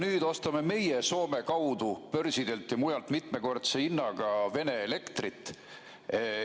Nüüd ostame meie Soome kaudu börsidelt ja mujalt mitmekordse hinnaga Vene elektrit.